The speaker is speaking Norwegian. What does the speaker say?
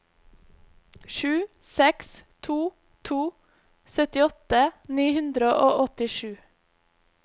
sju seks to to syttiåtte ni hundre og åttisju